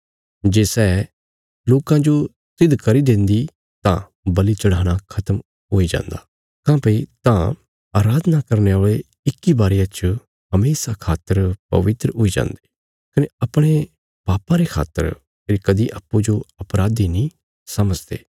जे सै लोकां जो सिद्ध करी देन्दी तां बल़ि चढ़ाणा खत्म हुई जान्दा काँह्भई तां अराधना करने औल़े इक्की बारिया च हमेशा खातर पवित्र हुई जान्दे कने अपणे पापां रे खातर फेरी कदी अप्पूँजो अपराधी नीं समझदे